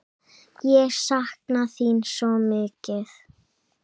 Ég sakna þín svo mikið!